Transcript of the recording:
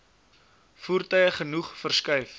voertuie genoeg verskuif